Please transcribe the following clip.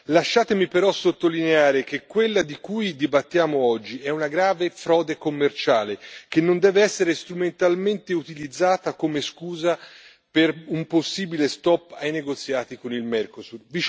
Lasciatemi però sottolineare che quella di cui dibattiamo oggi è una grave frode commerciale, che non deve essere strumentalmente utilizzata come scusa per un possibile stop ai negoziati con il Mercosur.